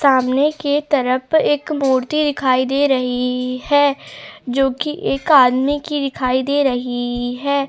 सामने के तरफ एक मूर्ति दिखाई दे रही है जो कि एक आदमी की दिखाई दे रही है।